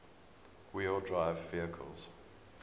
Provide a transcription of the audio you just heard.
wheel drive vehicles